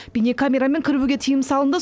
бейнекамерамен кіруге тыйым салынды